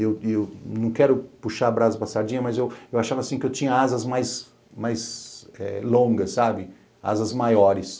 Eu eu eu não quero puxar a brasa passadinha, mas eu achava que eu tinha asas mais longas, asas maiores.